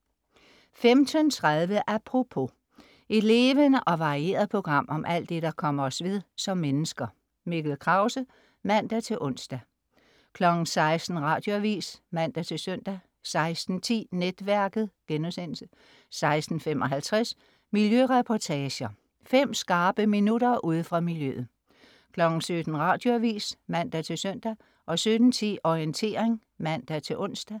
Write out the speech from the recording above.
15.30 Apropos. Et levende og varieret program om alt det, der kommer os ved som mennesker. Mikkel Krause (man-ons) 16.00 Radioavis (man-søn) 16.10 Netværket* 16.55 Miljøreportager. Fem skarpe minutter ude fra miljøet 17.00 Radioavis (man-søn) 17.10 Orientering (man-ons)